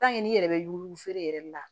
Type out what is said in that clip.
n'i yɛrɛ bɛ yugufeere yɛrɛ yɛrɛ de la